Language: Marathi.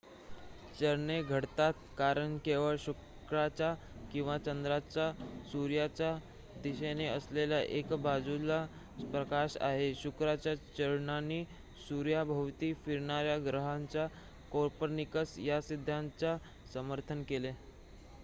चरणे घडतात कारण केवळ शुक्राच्या किंवा चंद्राच्या सूर्याच्या दिशेने असलेल्या एका बाजूलाच प्रकाश आहे. शुक्राच्या चरणांनी सूर्याभोवती फिरणार्‍या ग्रहांच्या कोपर्निकस या सिद्धांताचे समर्थन केले